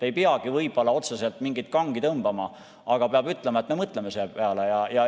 Ei peagi võib-olla otseselt mingit kangi tõmbama, aga peab ütlema, et me mõtleme selle peale.